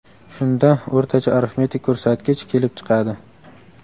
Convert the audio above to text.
Shunda o‘rtacha arifmetik ko‘rsatgich kelib chiqadi.